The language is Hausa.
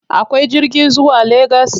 Akwai jirgi zuwa Legas?